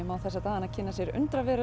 má þessa dagana kynna sér